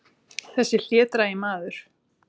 Þessi hlédrægi maður!